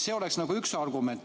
See oleks üks argument.